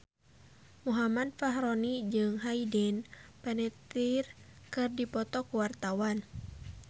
Muhammad Fachroni jeung Hayden Panettiere keur dipoto ku wartawan